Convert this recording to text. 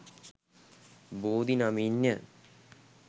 බෝධි නමින් ය.